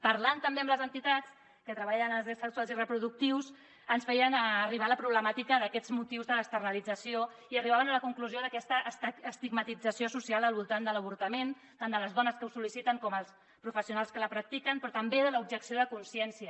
parlant també amb les entitats que treballen els drets sexuals i reproductius ens feien arribar la problemàtica d’aquests motius de l’externalització i arribaven a la conclusió d’aquesta estigmatització social al voltant de l’avortament tant de les do·nes que ho sol·liciten com dels professionals que la practiquen però també de l’ob·jecció de consciència